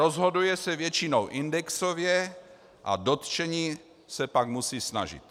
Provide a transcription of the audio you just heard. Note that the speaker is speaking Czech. Rozhoduje se většinou indexově a dotčení se pak musí snažit.